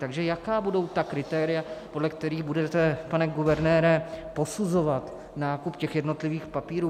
Takže jaká budou ta kritéria, podle kterých budete, pane guvernére, posuzovat nákup těch jednotlivých papírů?